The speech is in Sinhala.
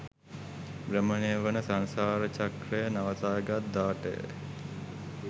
භ්‍රමණය වන සංසාර චක්‍රය නවතාගත් දාටය.